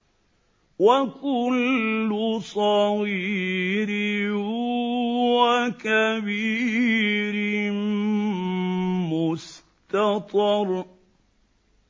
وَكُلُّ صَغِيرٍ وَكَبِيرٍ مُّسْتَطَرٌ